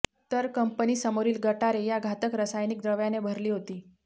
तर कंपनीसमोरील गटारे या घातक रासायनिक द्रव्याने भरली होती